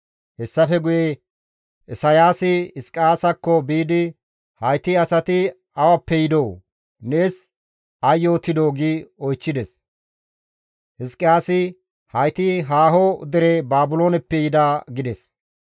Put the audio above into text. Hessafe guye Isayaasi Hizqiyaasakko biidi, «Hayti asati awappe yidoo? Nees ay yootidoo?» gi oychchides. Hizqiyaasi, «Hayti haaho dere Baabilooneppe yida» gides.